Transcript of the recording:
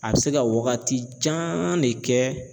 A bi se ka wagatijan de kɛ.